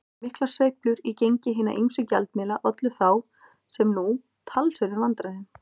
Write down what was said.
Miklar sveiflur í gengi hinna ýmsu gjaldmiðla ollu þá, sem nú, talsverðum vandræðum.